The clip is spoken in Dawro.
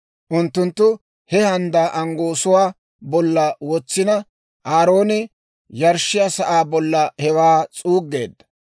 Unttunttu he handdaa anggoosuwaa bolla wotsina, Aarooni yarshshiyaa sa'aa bollan hewaa s'uuggeedda.